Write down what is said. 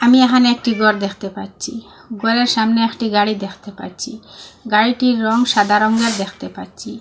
আমি এহানে একটি ঘর দেখতে পাচ্চি ঘরের সামনে একটি গাড়ি দেখতে পাচ্চি গাড়িটির রঙ সাদা রঙের দেখতে পাচ্চি।